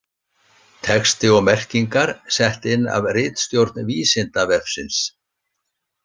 Texti og merkingar sett inn af ritstjórn Vísindavefsins.